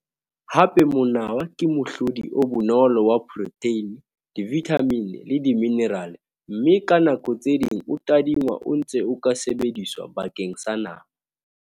Hape, monawa ke mohlodi o bonolo wa protheine, divithamine le diminirale, mme ka nako tse ding o tadingwa o ntse o ka sebediswa bakeng sa nama.